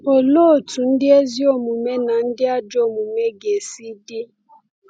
Olee otú ndị ezi omume na ndị ajọ omume ga-esi dị?